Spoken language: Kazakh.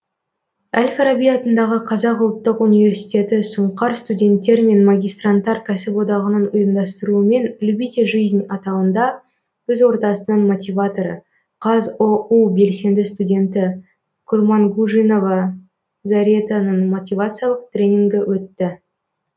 әл фараби атындағы қазақ ұлттық университеті сұңқар студенттер мен магистранттар кәсіподағының ұйымдастыруымен любите жизнь атауында өз ортасының мотиваторы қазұу белсенді студенті курмангужинова заретаның мотивациялық тренингі өтті